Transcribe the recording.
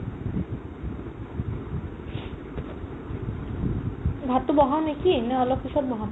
ভাতটো বহাও নেকি নে অলপ পিছত বহাম ?